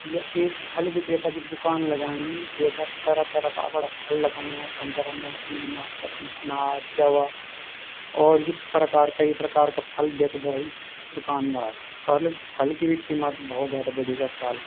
य एक फल विक्रेता की दूकान लगाईं जेका तरह तरह का अपड़ा फल लगाया संतरा मोसमी नाशपाती अनार केला और भी प्रकार कई प्रकार का फल बेचदा इस दुकानदार और फल की भी कीमत भोत जादा बड़ी अजकाल ।